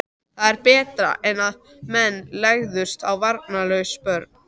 Það var betra en að menn legðust á varnarlaus börn.